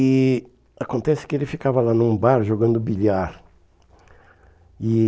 E acontece que ele ficava lá num bar jogando bilhar. E